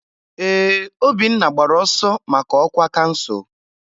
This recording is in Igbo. Ee, Obinna gbara ọsọ maka ọkwa kansụl.